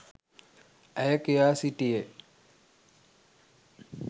ඇය කියා සිටියේ.